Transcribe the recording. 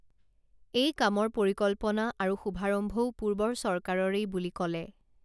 এই কামৰ পৰিকল্পনা আৰু শুভাৰম্ভও পূৰ্বৰ চৰকাৰৰেই বুলি কলে